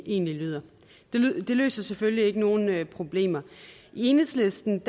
egentlig lyder det løser selvfølgelig ikke nogen problemer i enhedslisten